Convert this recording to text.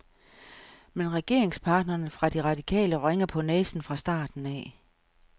Men regeringspartnerne fra de radikale vrænger på næsen fra starten af.